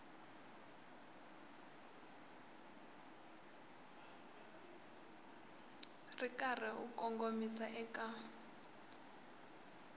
ri karhi u kongomisa eka